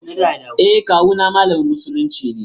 E, kawu ma malamin musulunci ne.